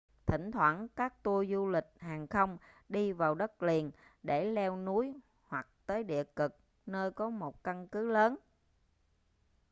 thỉnh thoảng các tour du lịch hàng không đi vào đất liền để leo núi hoặc tới địa cực nơi có một căn cứ lớn